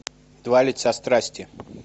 два лица страсти